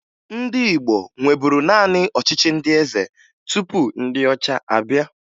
Ndị Igbo nweburu naanị ọchịchị ndị eze tupu ndị ọcha abịa